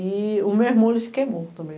E o meu irmão, ele se queimou também.